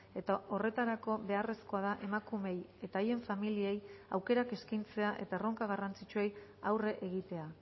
eta horretarako beharrezkoa da emakumeei eta haien familiei aukerak eskaintzea eta erronka garrantzitsuei aurre egitea